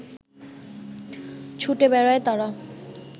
ছুটে বেড়ায় তারা